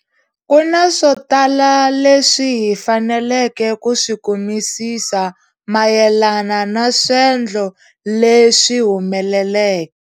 Ku na swo tala leswi hi faneleke ku swi kumisisa mayelana na swendlo leswi humeleleke.